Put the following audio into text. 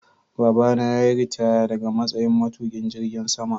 Baba na yayi ritaya daga matsayin matuƙin jirgin sama.